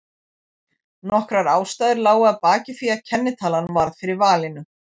Nokkrar ástæður lágu að baki því að kennitalan varð fyrir valinu.